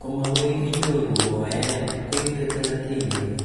kamagony inyoru mooet koite thelathini kole